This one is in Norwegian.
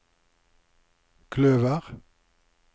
kløver